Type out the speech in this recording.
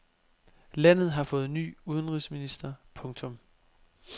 Landet har fået ny udenrigsminister. punktum